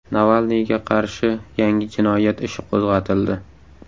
Navalniyga qarshi yangi jinoyat ishi qo‘zg‘atildi.